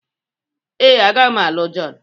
Ee, agaghị m alụ John.